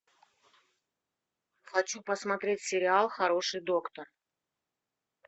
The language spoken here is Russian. хочу посмотреть сериал хороший доктор